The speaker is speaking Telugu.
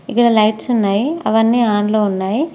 ఇక్కడ లైట్స్ ఉన్నాయి అవన్నీ ఆన్ లో ఉన్నాయి.